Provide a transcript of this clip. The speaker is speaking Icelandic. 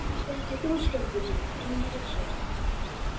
Ert þetta ekki þú, Skjöldur minn, inni í þessu?